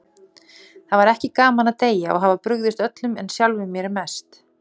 Það er ekki gaman að deyja og hafa brugðist öllum, en sjálfum sér mest.